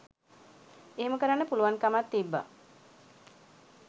එහෙම කරන්න පුළුවන් කමක් තිබ්බ